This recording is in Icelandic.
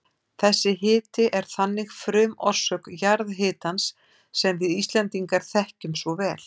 Þessi hiti er þannig frumorsök jarðhitans sem við Íslendingar þekkjum svo vel.